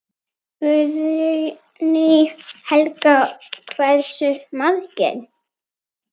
Guðný Helga: Hversu margir?